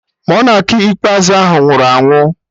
Monak ikpeazụ ahụ nwụrụ anwụ